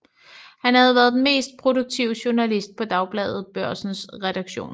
Han havde været den mest produktive journalist på Dagbladet Børsens redaktion